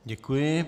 Děkuji.